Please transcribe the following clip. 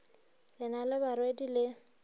le na le barwedi le